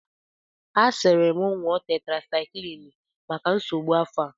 A siri m ṅụọ tetrasaiklin maka nsogbu afọ a.